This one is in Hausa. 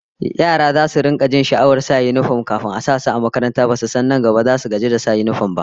Yara zasu rika jin sha'awar sa yinifom kafin a sa su a makaranta, basu san nan gaba zasu zo su gaji da shi ba!